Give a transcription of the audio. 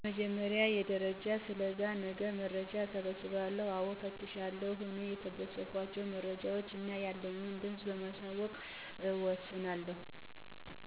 በመጀመሪያ ደረጃ ስለዛ ነገር መረጃ እሰበስባለሁ። አወ አፈትሻለሁ። አኔ የሰበሰብኳቸውን መረጃወች እና ያንን ድምፅ በማዋቀር እወስናለሁ።